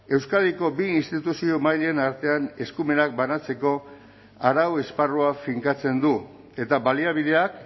euskadiko bi instituzio mailen artean eskumenak banatzeko arau esparrua finkatzen du eta baliabideak